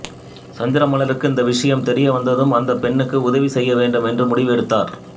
சந்திரமலருக்கு இந்த விஷயம் தெரிய வந்ததும் அந்தப் பெண்ணுக்கு உதவி செய்ய வேண்டும் என்று முடிவு எடுத்தார்